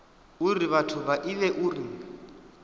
uri vhathu vha ivhe uri